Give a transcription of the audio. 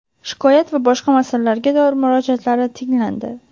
shikoyat va boshqa masalalarga doir murojaatlari tinglandi.